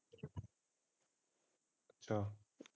ਅੱਛਾ।